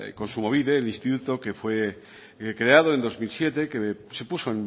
kontsumobide el instituto que fue creado en dos mil siete que se puso